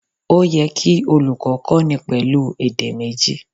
Ó yẹ kí olùkó kó ni pèlú èdè méjì